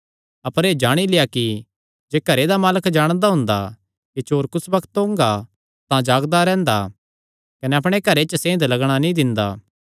अपर एह़ जाणी लेआ कि जे घरे दा मालक जाणदा हुंदा कि चोर कुस बग्त ओंगा तां जागदा रैंह्दा कने अपणे घरे च सेंध लगणा नीं दिंदा